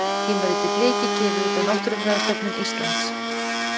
Tímaritið Bliki, gefið út af Náttúrufræðistofnun Íslands.